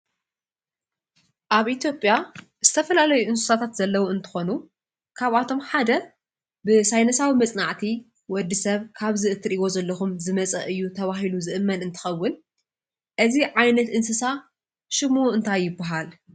ኣብ ኢትዮጴያ ዝተፈላለይ እንስሳታት ዘለዉ እንተኾኑ ካብኣቶም ሓደ ብሳይነሳዊ መጽንዕቲ ወዲ ሰብ ካብዚ እትርእይዎ ዘለኹም ዝመፀ እዩ ተብሂሉ ዝእመን እንተኸውን፣ እዚ ዓይነት እንስሳ ሽሙ እንታይ ይበሃል?